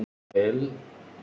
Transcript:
Augu þeirra blá og bólgin.